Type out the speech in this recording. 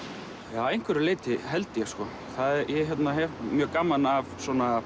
já að einhverju leyti held ég sko ég hef mjög gaman af svona